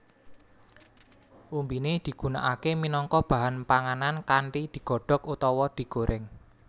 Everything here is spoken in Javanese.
Umbiné digunakaké minangka bahan panganan kanthi digodhok utawa digorèng